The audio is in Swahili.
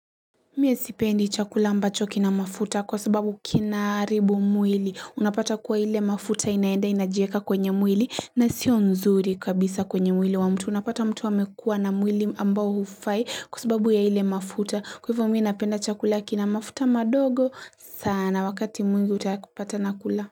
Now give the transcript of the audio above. Mie sipendi chakula ambacho kina mafuta kwa sababu kina haribu mwili unapata kwa ile mafuta inaenda inajieka kwenye mwili na sio nzuri kabisa kwenye mwili wa mtu unapata mtu amekua na mwili ambao hufai kwa sababu ya ile mafuta kwa hivyo mimi napenda chakula kina mafuta madogo sana wakati mwingi utapata na kula.